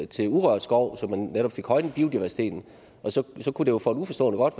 til urørt skov så man netop fik højnet biodiversiteten så kunne det jo for en uforstående godt